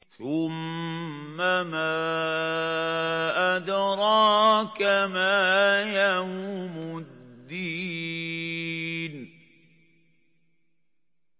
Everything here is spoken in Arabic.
ثُمَّ مَا أَدْرَاكَ مَا يَوْمُ الدِّينِ